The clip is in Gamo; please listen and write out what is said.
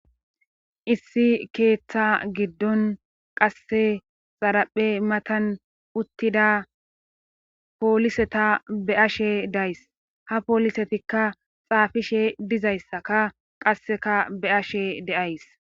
issi keeththa giddon qasse xaraphe matan uttida pooliseta be ashe days ha poolisetikka xaafishe dizayssaka qasseka be ashe deays